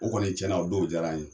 O kɔni cɛn na o don jara n ye.